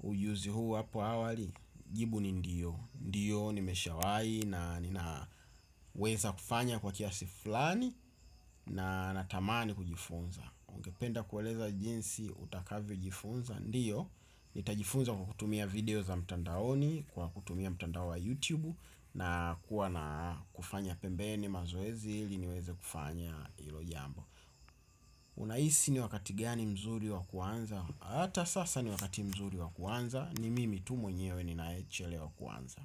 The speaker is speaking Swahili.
ujuzi huu hapo awali, jibu ni ndiyo. Ndiyo nimeshawahi na ninaweza kufanya kwa kiasi fulani na natamani kujifunza. Ungependa kueleza jinsi utakavyojifunza, ndiyo. Nitajifunza kwa kutumia video za mtandaoni, kwa kutumia mtandao wa YouTube, na kuwa na kufanya pembeni mazoezi ili niweze kufanya hilo jambo unahisi ni wakati gani mzuri wa kuanza hata sasa ni wakati mzuri wa kuanza ni mimi tu mwenyewe ninayechelewa kuanza.